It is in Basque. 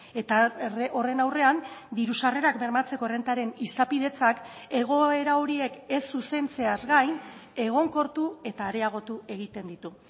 eta horren aurrean diru sarrerak bermatzeko errentaren izapidetzak egoera horiek ez zuzentzeaz gain egonkortu eta areagotu egiten ditu